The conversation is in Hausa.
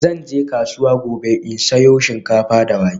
Zan je kasuwa gobe in sayo shinkafa da wake.